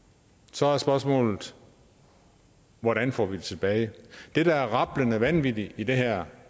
så er spørgsmålet hvordan får vi dem tilbage det der er rablende vanvittigt i det her